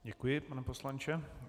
Děkuji, pane poslanče.